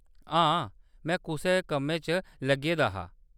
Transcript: हां ! में कुसै कम्मै च लग्गे दा हा।